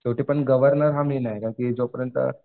शेवटी पण गव्हर्नर हा मेन आहे कारण की जोपर्यंत